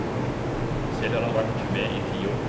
Selv har han vært med i ti år.